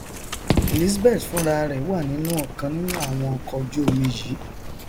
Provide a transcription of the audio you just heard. elizabeth fúnrarẹ wà nínú ọkan nínú àwọn ọkọojúomi yìí